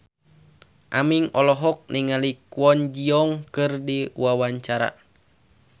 Aming olohok ningali Kwon Ji Yong keur diwawancara